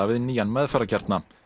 við nýjan meðferðarkjarna